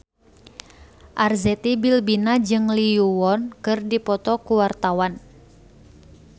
Arzetti Bilbina jeung Lee Yo Won keur dipoto ku wartawan